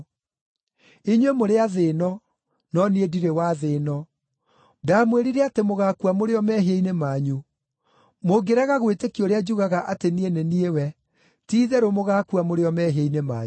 Inyuĩ mũrĩ a thĩ-ĩno; no niĩ ndirĩ wa thĩ-ĩno. Ndamwĩrire atĩ mũgaakua mũrĩ o mehia-inĩ manyu; mũngĩrega gwĩtĩkia ũrĩa njugaga atĩ niĩ nĩ niĩ we, ti-itherũ mũgaakua mũrĩ o mehia-inĩ manyu.”